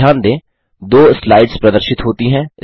ध्यान दें दो स्लाइड्स प्रदर्शित होती हैं